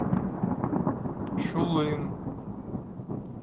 чулым